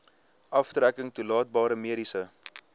aftrekking toelaatbare mediese